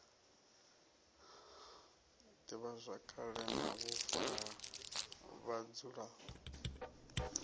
divhazwakale na vhufa ha vhadzulapo